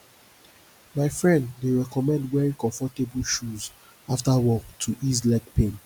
my friend dey recommend wearing comfortable shoes after work to ease leg pain